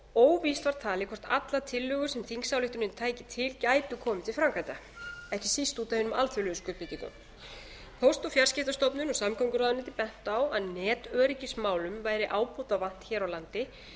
óvíst var talið hvort allar tillögur sem þingsályktunin tæki til gæti komið til framkvæmda ekki síst út af hinum alþjóðlegu skuldbindingum póst og fjarskiptastofnun og samgönguráðuneytið bentu á að netöryggismálum væri ábótavant hér á landi